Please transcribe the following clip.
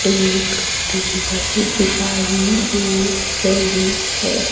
एक टेबल दिखाई दे रही है।